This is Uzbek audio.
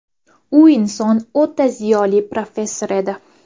U inson o‘ta ziyoli professor edi.